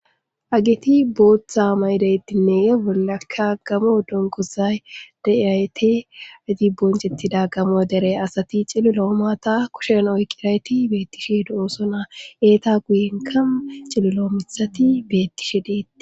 ageti booththa maydeyttinne eolakka gamoo donkosay daayte adibboncettida gamo dere asati cililo omaata kushen oykirayti beettishe do7oosona eeta guyenkamu cililo mithati beettishe deeti